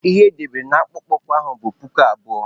Ihe edere na akpụkpọ ụkwụ ahụ bụ puku abụọ.